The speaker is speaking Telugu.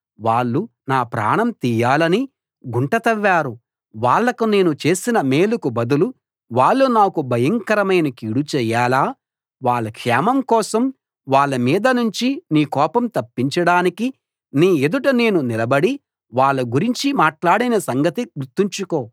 వాళ్ళు నా ప్రాణం తీయాలని గుంట తవ్వారు వాళ్లకు నేను చేసిన మేలుకు బదులు వాళ్ళు నాకు భయంకరమైన కీడు చేయాలా వాళ్ళ క్షేమం కోసం వాళ్ళ మీదనుంచి నీ కోపం తప్పించడానికి నీ ఎదుట నేను నిలబడి వాళ్ళ గురించి మాట్లాడిన సంగతి గుర్తుంచుకో